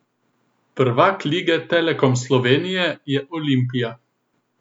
Prvak Prve lige Telekom Slovenije je Olimpija.